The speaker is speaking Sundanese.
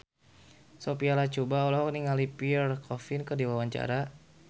Sophia Latjuba olohok ningali Pierre Coffin keur diwawancara